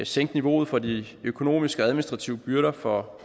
sænke niveauet for de økonomiske og administrative byrder for